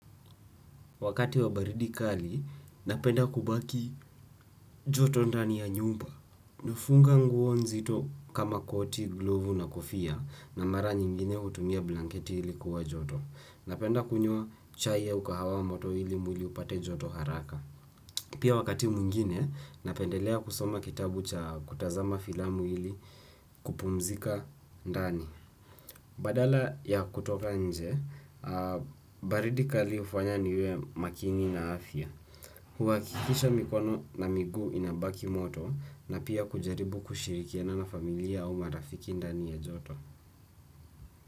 Wakati wa baridi kali, napenda kubaki joto ndani ya nyumba. Nafunga nguo nzito kama koti, glovu na kofia na mara nyingine hutumia blanketi ili kuwa joto. Napenda kunywaa chai au kahawa moto ili mwili upate joto haraka. Pia wakati mwingine, napendelea kusoma kitabu cha kutazama filamu ili kupumzika ndani. Badala ya kutoka nje, baridi kali hufanya niwe makini na afya. Huwakikisho mikono na miguu inabaki moto na pia kujaribu kushirikiana na familia au marafiki ndani ya joto.